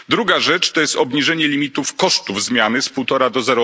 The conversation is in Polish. Druga rzecz to jest obniżenie limitów kosztów zmiany z 1,5 do